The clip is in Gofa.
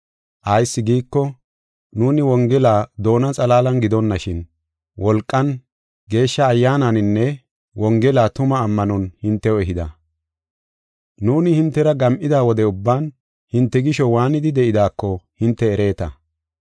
Ayis giiko, nuuni Wongela doona xalaalan gidonashin, wolqan, Geeshsha Ayyaananinne Wongela tumaa ammanon hintew ehida. Nuuni hintera gam7ida wode ubban hinte gisho waanidi de7idaako hinte ereeta.